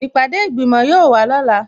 Ìpàdé ìgbìmò yóò wà lọ́la